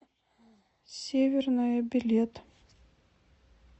северная билет